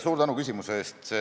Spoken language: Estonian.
Suur tänu küsimuse eest!